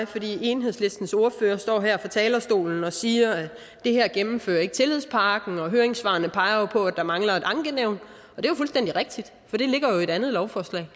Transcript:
fordi enhedslistens ordfører står her fra talerstolen og siger at det her ikke gennemfører tillidspakken og at høringssvarene jo peger på at der mangler et ankenævn det er fuldstændig rigtigt for det ligger jo i et andet lovforslag